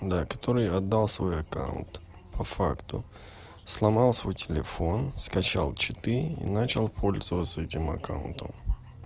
да который отдал свой аккаунт по факту сломал свой телефон скачал читы и начал пользоваться этим аккаунтом